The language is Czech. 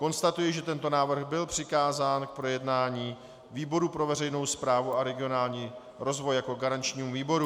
Konstatuji, že tento návrh byl přikázán k projednání výboru pro veřejnou správu a regionální rozvoj jako garančnímu výboru.